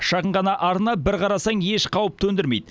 шағын ғана арна бір қарасаң еш қауіп төндірмейді